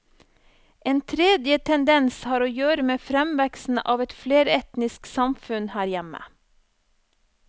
En tredje tendens har å gjøre med fremveksten av et fleretnisk samfunn her hjemme.